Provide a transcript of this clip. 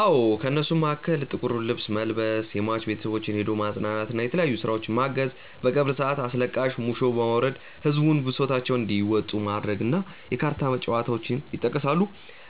አዎ። ከእነሱም መሀከል ጥቁር ልብስ መልበስ፣ የሟች ቤተሰቦችን ሄዶ ማፅናናት እና የተለያዩ ስራዎችን ማገዝ፣ በቀብር ሰአት አስለቃሾች ሙሾ በማውረድ ህዝቡን ብሶታቸውን እንዲያወጡ ማድረግ እና የካርታ ጨዋታዎች ይጠቀሳሉ።